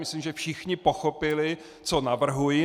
Myslím, že všichni pochopili, co navrhuji.